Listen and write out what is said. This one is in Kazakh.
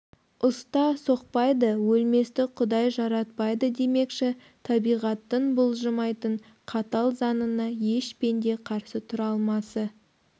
ұста соқпайды өлместі құдай жаратпайды демекші табиғаттың бұлжымайтын қатал заңына еш пенде қарсы тұра алмасы